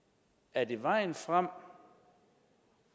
er det vejen frem